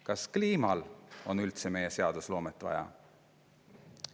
Kas kliimal on üldse meie seadusloomet vaja?